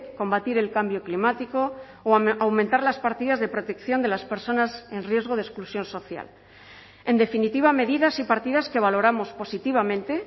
combatir el cambio climático o aumentar las partidas de protección de las personas en riesgo de exclusión social en definitiva medidas y partidas que valoramos positivamente